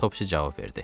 Topsi cavab verdi.